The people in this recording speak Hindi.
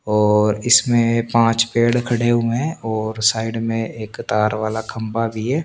और इसमें पांच पेड़ खड़े हुए है और साइड में तार वाला खम्बा भी है ।